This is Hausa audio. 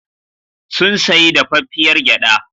Sun sayi dafaffiyar gyaɗa.